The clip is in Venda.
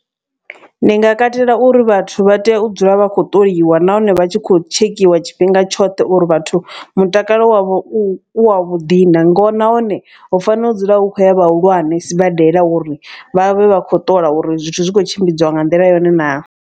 Ndi nga katela uri vhathu vha tea u dzula vha khou ṱoliwa nahone vha tshi khou tshekhiwa tshifhinga tshoṱhe. Uri vhathu mutakalo wavho u wa vhuḓi na ngo nahone hu fanela u dzula hu kho ya vhahulwane sibadela. Uri vhavhe vha kho ṱola uri zwithu zwi khou tshimbidziwa nga nḓila yone naa.